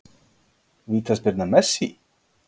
Vítaspyrna Messi?